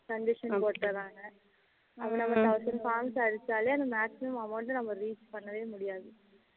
condition போட்டுறாங்க அப்போ நம்ம thousand points அடிச்சாளே maximum amount நம்ம reach பண்ணவே முடியாது